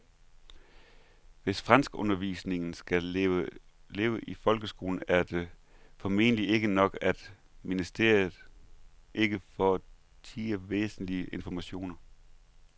Hvis franskundervisningen skal leve i folkeskolen er det formentlig ikke nok, at ministeriet ikke fortier væsentlig information.